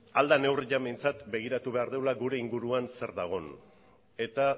ahal dan neurrian behintzat begiratu behar degula gure inguruan zer dagon eta